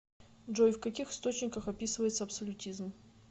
джой в каких источниках описывается абсолютизм